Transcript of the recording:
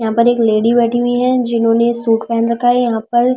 यहां पर एक लेडी बैठी हुई है जिन्होंने सूट पहन रखा है यहां पर--